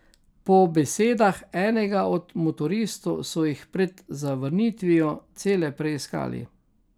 Po besedah enega od motoristov so jih pred zavrnitvijo cele preiskali.